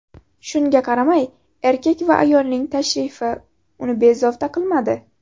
Shunga qaramay, erkak va ayolning tashrifi uni bezovta qilmadi.